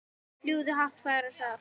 Fljúgðu hátt fagra sál.